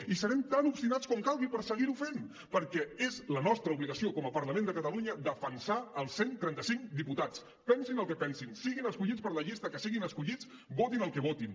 i serem tan obstinats com calgui per seguir ho fent perquè és la nostra obligació com a parlament de catalunya defensar els cent i trenta cinc diputats pensin el que pensin siguin escollits per la llista que siguin escollits votin el que votin